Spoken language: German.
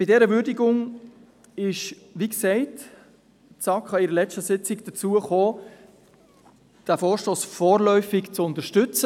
In ihrer Würdigung ist die SAK – wie gesagt – anlässlich ihrer letzten Sitzung dazu gekommen, diesen Vorstoss vorläufig zu unterstützen.